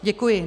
Děkuji.